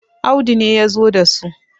Audu ne ya zo da su